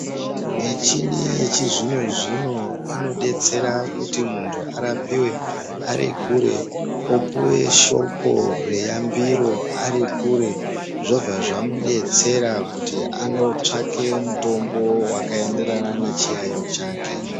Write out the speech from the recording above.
Michini yechizvino zvino inodetsera kuti muntu arapiwe ari kure, opiwe shoko reyambiro ari kure zvobva zvamudetsera kuti anotsvake mutombo wakaenderana nechiyayiyo chake.